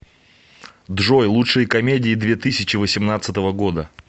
джой лучшие комедии две тысячи восемнадцатого года